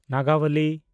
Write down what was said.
ᱱᱟᱜᱟᱵᱚᱞᱤ